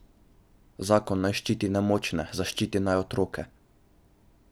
Zakon naj ščiti nemočne, zaščiti naj otroke.